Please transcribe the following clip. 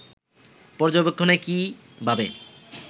পর্যবেক্ষণে কী ভাবে